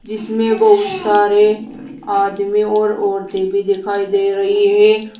जिसमें बहुत सारे आदमी और औरतें भी दिखाई दे रही हैं।